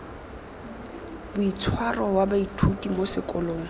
boitshwaro wa baithuti mo sekolong